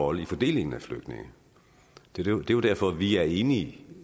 rolle i fordelingen af flygtninge det er jo derfor vi er enige